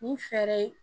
Ni fɛɛrɛ ye